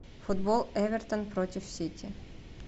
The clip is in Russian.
футбол эвертон против сити